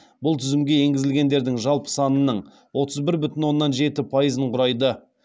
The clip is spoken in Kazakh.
бұл тізімге енгізілгендердің жалпы санының отыз бір бүтін оннан жеті пайызын құрайды